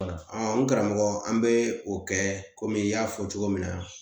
n karamɔgɔ an bɛ o kɛ komi i y'a fɔ cogo min na